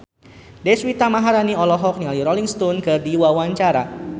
Deswita Maharani olohok ningali Rolling Stone keur diwawancara